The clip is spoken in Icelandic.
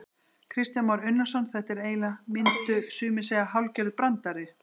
Kristján Már Unnarsson: Þetta er eiginlega, myndu sumir segja hálfgerður brandari?